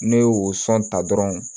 Ne y'o sɔn ta dɔrɔn